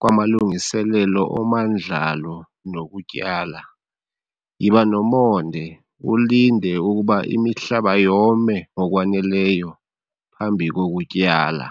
kwamalungiselelo omandlalo nokutyala, yiba nomonde ulinde ukuba imihlaba yome ngokwaneleyo phambi kokutyala.